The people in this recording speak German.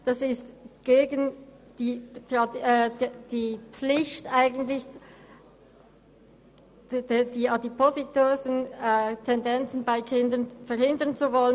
Das ist gegen die Pflicht, die adipösen Tendenzen bei Kindern verhindern zu wollen.